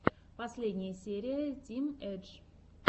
последняя серия тим эдж